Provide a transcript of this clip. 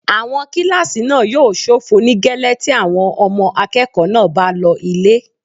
Àwọn kílásì náà yóò ṣófo nígẹ́lẹ́ tí àwọn ọmọ akẹ́kọ̀ọ́ náà bá lọ ilé